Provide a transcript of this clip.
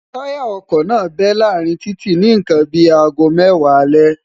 táyà ọkọ̀ náà bẹ́ láàárín títì ni nǹkan bí i aago mẹ́wàá alẹ́